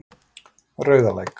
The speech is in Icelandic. Rauðalæk